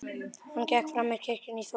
Hann gekk fram með kirkjunni í þokunni.